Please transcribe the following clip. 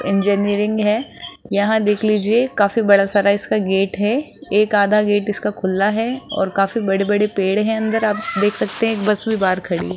Engineering है। यहां देख लीजिए काफी बड़ा सारा इसका गेट है। एक आधा गेट इसका खुला है और काफी बड़े-बड़े पेड़ हैं अंदर आप देख सकते हैं। एक बस भी बाहर खड़ी--